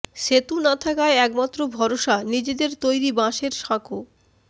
সেতু না থাকায় একমাত্র ভরসা নিজেদের তৈরি বাঁশের সাঁকো